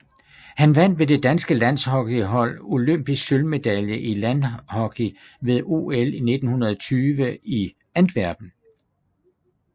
Han vandt med det danske landhockeyhold olympisk sølvmedalje i landhockey ved OL 1920 i Antwerpen